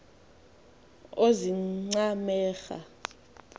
oozincemera